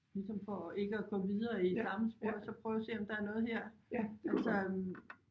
Ligesom for ikke at gå videre i samme spor så prøve at se om der er noget her altså